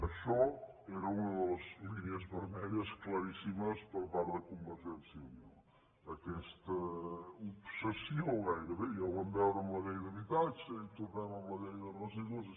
això era una de les línies vermelles claríssimes per part de convergència i unió aquesta obsessió gairebé ja ho vam veure amb la llei d’habitatge i hi tornem amb la llei de residus